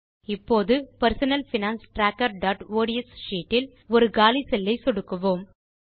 இப்போது நம் personal finance trackerஒட்ஸ் ஷீட் இல் ஒரு காலி செல்லை சொடுக்குவோம்